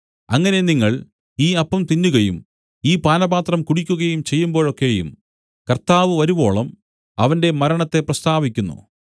അങ്ങനെ നിങ്ങൾ ഈ അപ്പം തിന്നുകയും ഈ പാനപാത്രം കുടിക്കുകയും ചെയ്യുമ്പോഴൊക്കെയും കർത്താവ് വരുവോളം അവന്റെ മരണത്തെ പ്രസ്താവിക്കുന്നു